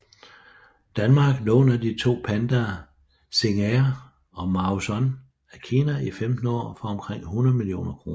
Danmark låner de to pandaer Xing Er og Mao Sun af Kina I 15 år for omkring 100 millioner kroner